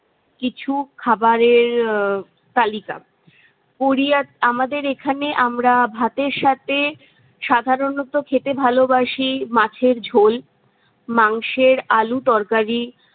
কিছু খাবারের উম তালিকা। কোরিয়া আমাদের এখানে আমরা ভাতের সাথে সাধারণত খেতে ভালোবাসি মাছের ঝোল, মাংসের আলু তরকারি